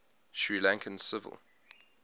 sri lankan civil